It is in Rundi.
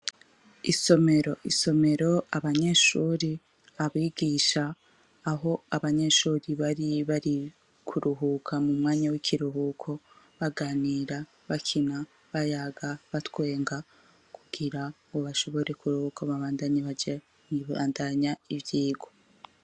Isomero isomero abanyeshuri abigisha aho abanyeshuri bari bari kuruhuka mu mwanya w'ikiruhuko baganira bakina bayaga batwenga kugira ngo bashobore kuruhuko babandanye baja ibandanya ivyigo.